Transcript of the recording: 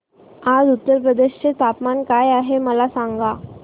आज उत्तर प्रदेश चे तापमान काय आहे मला सांगा